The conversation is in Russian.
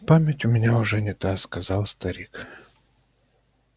память у меня уже не та сказал старик